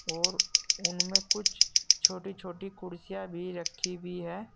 और उनमें कुछ छोटी छोटी कुर्सियां भी रखी हुई हैं।